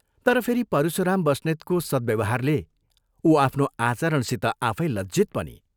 तर फेरि परशुराम बस्नेतको सद् व्यवहारले उ आफ्नो आचरणसित आफै लज्जित पनि